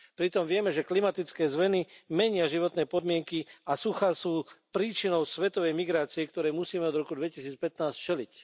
Pritom vieme, že klimatické zmeny menia životné podmienky a suchá sú príčinou svetovej migrácie, ktorej musíme od roku 2015 čeliť.